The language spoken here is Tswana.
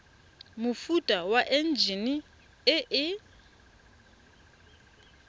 mofuta wa enjine e e